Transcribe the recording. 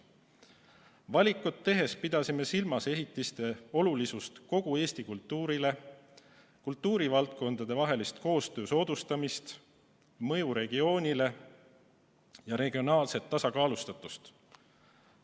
Valikut tehes pidasime silmas ehitiste olulisust kogu Eesti kultuurile, kultuurivaldkondade koostöö soodustamist, mõju regioonile ja regionaalset tasakaalustatust.